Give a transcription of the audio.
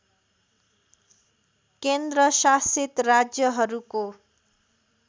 केन्द्र शासित राज्यहरूको